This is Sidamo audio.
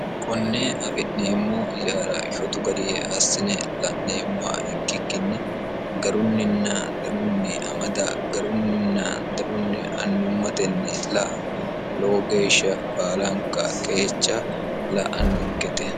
konnee afi'neemmo ijaara sotu garie assine la'neemmo ikkikkinni garunninna danunni amada garunninna danunni annummatenni la lowo geeshsha baalanka qeecha la'annonkete